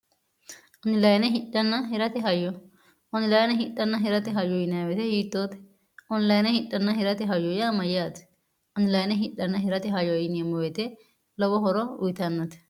onilayie hidnn hirte hyo onilayine hidhanna hirate hayyu yinweete hiittoote onilayine hidhanna hirate hayyu yaa mayyaati onilayine hidhanna hirate hayyo yiini emmo weyete lowo horo uyitannate